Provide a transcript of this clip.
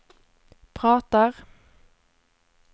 pratar